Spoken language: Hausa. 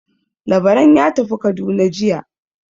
Labaran ya tafi Kaduna jiya.